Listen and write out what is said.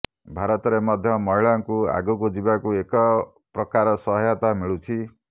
ଭାରତରେ ମଧ୍ୟ ମହିଳାଙ୍କୁ ଆଗକୁ ଯିବାକୁ ଏକପ୍ରକାର ସହାୟତା ମିଳୁଛି